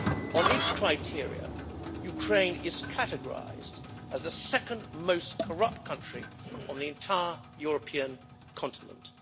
On its criteria, Ukraine is categorised as the second most corrupt country on the entire European continent.